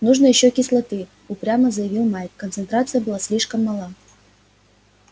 нужно ещё кислоты упрямо заявил майк концентрация была слишком мала